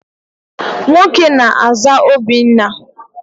Nwoke na-àzá Obinna.